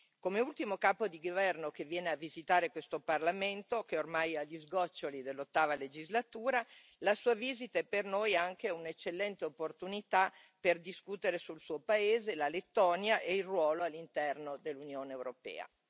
Come ultimo capo di governo che viene a visitare questo Parlamento, che è ormai agli sgoccioli dell'ottava legislatura, la Sua visita è per noi anche un'eccellente opportunità per discutere sul Suo paese, la Lettonia, e il ruolo all'interno dell'Unione europea.